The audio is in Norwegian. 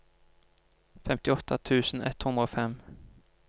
femtiåtte tusen ett hundre og fem